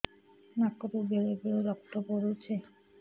ନାକରୁ ବେଳେ ବେଳେ ରକ୍ତ ପଡୁଛି